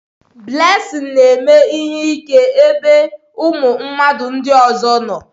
Blessing na-eme ihe ike n'ebe ụmụ mmadụ ndị ọzọ nọ